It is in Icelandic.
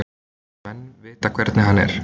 Menn vita hvernig hann er.